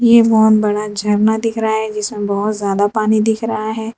एक बहुत बड़ा झरना दिख रहा है जिसमें बहुत ज्यादा पानी दिख रहा है।